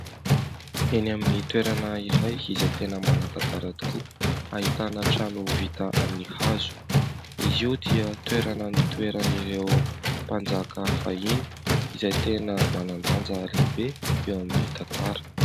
Eny amin'ny toerana iray izay tena manan-tantara tokoa ; ahitana trano vita amin'ny hazo . Izy io dia toerana nitoeran'ireo mpanjaka fahiny ; izay tena manan-danja lehibe eo amin'ny tantara .